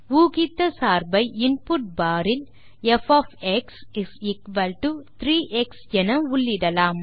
ஊகித்த சார்பை input bar இல் ப் 3 எக்ஸ் என உள்ளிடலாம்